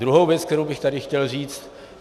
Druhá věc, kterou bych tady chtěl říci.